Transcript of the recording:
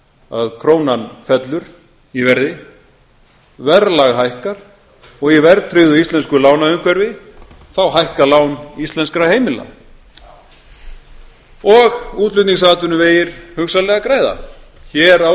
að krónan fellur í verði verðlag hækkar og í verðtryggðu íslensku lánaumhverfi þá hækka lán íslenskra heimila og útflutningsatvinnuvegir hugsanlega græða hér á